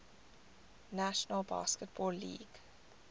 national basketball league